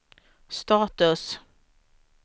status